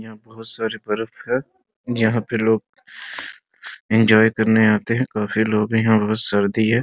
यहाँ बहुत सारी बर्फ है यहाँ पे लोग एन्जॉय करने आते हैं काफी लोग हैं यहाँ बहुत सर्दी है --